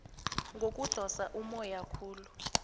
ngokudosa ummoya khulu